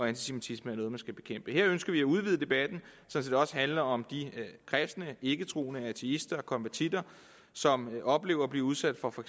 antisemitisme er noget der skal bekæmpes her ønsker vi at udvide debatten så den også handler om de kristne og ikketroende ateister og konvertitter som i oplever at blive udsat for for